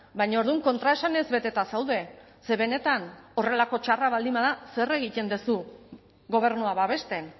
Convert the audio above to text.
baina orduan kontraesanez beteta zaude ze benetan horrelako txarra baldin bada zer egiten duzu gobernua babesten